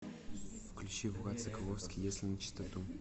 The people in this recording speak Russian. включи влад соколовский если начистоту